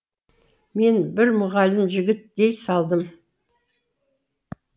мен бір мұғалім жігіт дей салдым